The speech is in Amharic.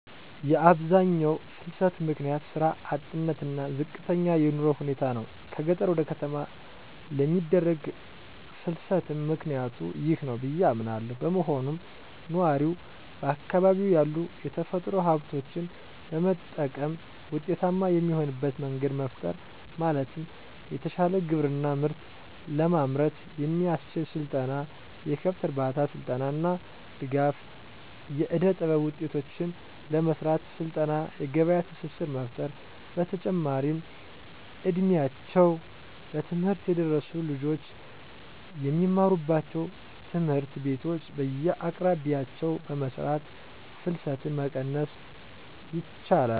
የአብዛኛው ፍልሰት ምክንያት ስራ አጥነት እና ዝቅተኛ የኑሮ ሁኔታ ናቸው። ከገጠር ወደ ከተማ ለሚደረግ ፍልስትም ምክኒያቱ ይህ ነው ብዬ አምናለው። በመሆኑም ነዋሪው በአካባቢው ያሉ የተፈጥሮ ሀብቶችን በመጠቀም ውጤታማ የሚሆንበት መንገድ መፍጠር ማለትም የተሻለ ግብርና ምርት ለማምረት የሚያስችል ስልጠና፣ የከብት እርባታ ስልጠና እና ድጋፍ. ፣ የእደጥበብ ውጤቶችን ለመሰራት ስልጠና የገበያ ትስስር መፍጠር። በተጨማሪም እ ድሜያቸው ለትምህርት የደረሱ ልጆች የሚማሩባቸውን ትምህርት ቤቶች በየአቅራቢያቸው በመስራት ፍልሰትን መቀነስ ይቻላል።